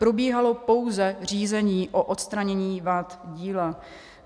Probíhalo pouze řízení o odstranění vad díla.